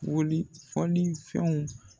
Wuli fɔli fɛnw.